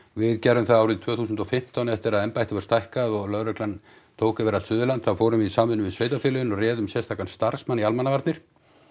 við gerðum það árið tvö þúsund og fimmtán eftir að embættið var stækkað og lögreglan tók yfir allt Suðurland þá fórum við í samvinnu við sveitarfélögin og réðum sérstakan starfsmann í almannavarnir